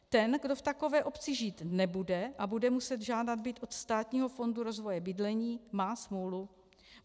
Ten, kdo v takové obci žít nebude a bude muset žádat byt od Státního fondu rozvoje bydlení, má smůlu.